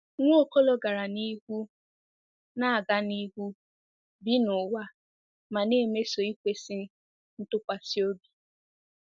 Nwaokolo gara n'ihu na-aga n'ihu, "bi n'ụwa," ma na-emeso ikwesị ntụkwasị obi."